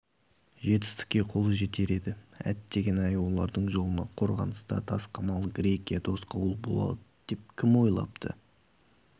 жетістікке қолы жетер еді әттеген-ай олардың жолына қорғаныста тасқамал грекия тосқауыл болады деп кім ойлапты